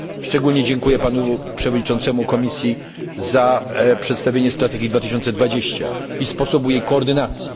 Szczególnie dziękuję panu przewodniczącemu Komisji za przedstawienie Strategii 2020 i sposobu jej koordynacji.